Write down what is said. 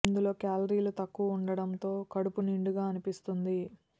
ఇందులో క్యాలరీలు తక్కువ ఉండటం తో కడుపు నిండుగా అనిపిస్తుంది